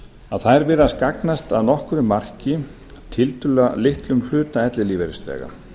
að þær virðast gagnast að nokkru marki tiltölulega litlum hluta ellilífeyrisþega